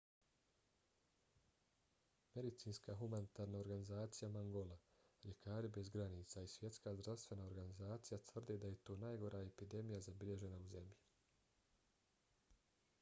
medicinska humanitarna organizacija mangola ljekari bez granica i svjetska zdravstvena organizacija tvrde da je to najgora epidemija zabilježena u zemlji